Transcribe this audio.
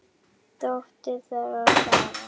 Dóttir þeirra: Sara.